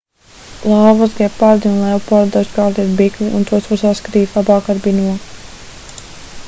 lauvas gepardi un leopardi dažkārt ir bikli un tos var saskatīt labāk ar binokli